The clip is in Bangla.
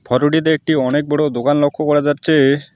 ফটোটিতে একটি অনেক বড়ো দোকান লক্ষ করা যাচ্ছে।